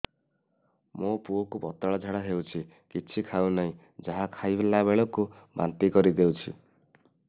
ମୋ ପୁଅ କୁ ପତଳା ଝାଡ଼ା ହେଉଛି କିଛି ଖାଉ ନାହିଁ ଯାହା ଖାଇଲାବେଳକୁ ବାନ୍ତି କରି ଦେଉଛି